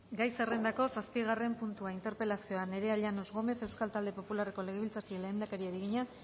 gai zerrendako zazpigarren puntua interpelazioa nerea llanos gómez euskal talde popularreko legebiltzarkideak lehendakariari egina